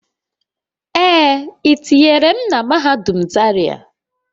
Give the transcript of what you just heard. Ee, etinyere m na mahadum zaria